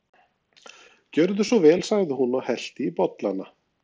Gjörðu svo vel sagði hún og hellti í bollana.